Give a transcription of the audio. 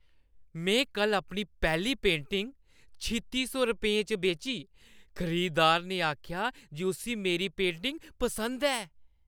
मैं कल्ल अपनी पैह्‌ली पेंटिंग छित्ती सौ रपेंऽ च बेची। खरीदार ने आखेआ जे उस्सी मेरी पेंटिंग पसंद ऐ!